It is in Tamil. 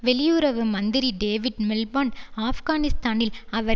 வெளியுறவு மந்திரி டேவிட் மில்பாண்ட் ஆப்கானிஸ்தானில் அவர்